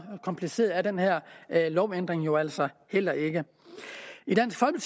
kompliceret er den her lovændring jo altså heller ikke